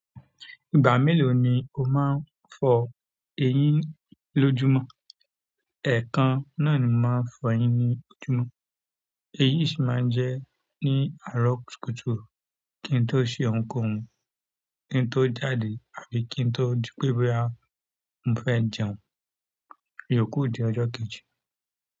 Ìgbà mélòó ni o máa ń fọ eyín lójúmọ́? Ẹ̀ẹ̀kan náà ni mo máa ń fọ eyín ní ojúmọ́, èyí sì máa ń jẹ́ ní àárọ̀ kùtùkùtù, kí n tó sẹ ohunkóhun, kí n tó jáde àbí kí n tó di pé boya mo fẹ́ jẹun. Yòókù di ọjọ́ kejì.